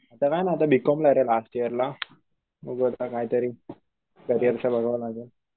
आता काय नाय आता बी कॉम ला ये रे लास्ट इयर ला. बगूया आता काहीतरी बघावं लागलं.